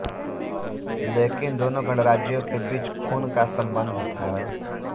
लेकिन दोनों गणराज्यों के बीच ख़ून का संबंध था